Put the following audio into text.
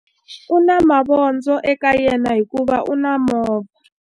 U na mavondzo eka yena hikuva u na movha.